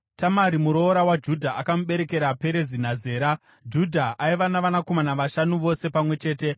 Tamari muroora waJudha akamuberekera Perezi naZera. Judha aiva navanakomana vashanu vose pamwe chete.